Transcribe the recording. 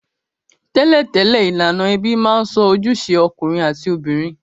Tẹ́lẹ̀tẹ́lẹ̀, ilànà ebí ma n so ojúse okùnrin àti obìnrin